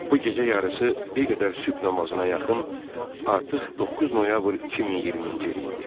Bu gecə yarısı bir qədər sübh namazına yaxın artıq 9 noyabr 2020-ci il idi.